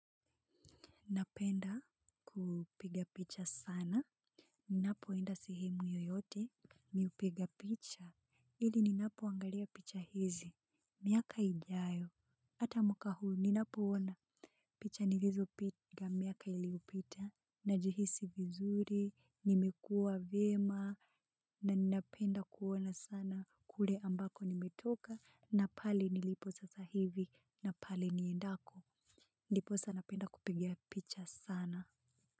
Napenda kupiga picha sana, ninapoenda sehemu yoyote, mi hupiga picha, hili ninapoangalia picha hizi, miaka ijayo, ata mwaka huu ninapoona, picha nilizopiga miaka iliyopita, najihisi vizuri, nimekua vyema, na ninapenda kuona sana kule ambako nimetoka, na pale nilipo sasahivi, na pale niendako, ndipo sasa napenda kupiga picha sana.